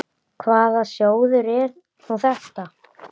Hvaða sjóður er nú þetta?